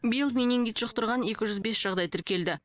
биыл менингит жұқтырған екі жүз бес жағдай тіркелді